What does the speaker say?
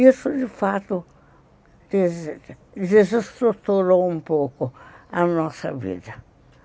Isso, de fato, desestruturou um pouco a nossa vida.